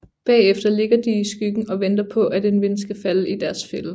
Bagefter ligger de i skyggen og venter på at en ven skal falde i deres fælde